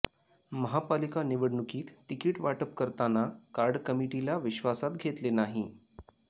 महापालिका निवडणुकीत तिकीट वाटप करताना कार्ड कमिटीला विश्वासात घेतले नाही